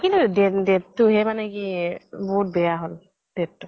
কিন্তু date date তোহে মানে কি য়ে বহুত বেয়া হল date তো।